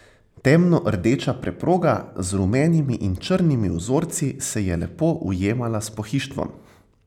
Temno rdeča preproga z rumenimi in črnimi vzorci se je lepo ujemala s pohištvom.